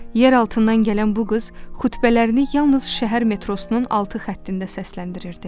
Yeraltından gələn bu qız xütbələrini yalnız şəhər metrosunun altı xəttində səsləndirirdi.